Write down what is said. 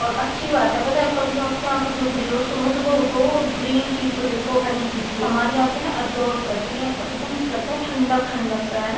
और अच्छी बात है। पता है कभी आपकी आँखें दुःख रही हो सुबह सुबह उठो और ग्रीन चीज को देखो हरी चीज को। हमारी आँखें न एब्सॉर्ब करती हैं और एकदम ऐसा लगता है ठंडक ठंडक सा है ना।